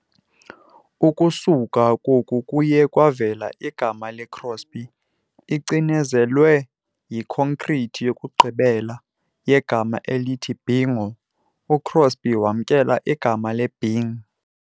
Ukusuka koku kuye kwavela igama le-Crosby- icinezelwe ikhonkrithi yokugqibela yegama elithi "Bingo", uCrosby wamkela igama le- "Bing" .